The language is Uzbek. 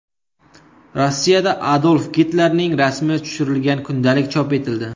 Rossiyada Adolf Gitlerning rasmi tushirilgan kundalik chop etildi.